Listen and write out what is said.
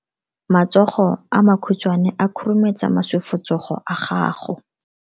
Matsogo a makhutshwane a khurumetsa masufutsogo a gago.